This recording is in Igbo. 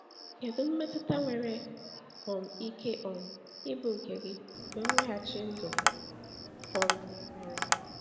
Kedu mmetụta nwere um ike um ịbụ nke gị mgbe mweghachi ndụ um mere?